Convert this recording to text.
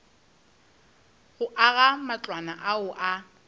go aga matlwana ao a